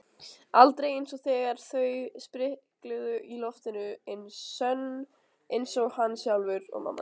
Aldrei einsog þegar þau sprikluðu í loftinu sönn einsog hann sjálfur.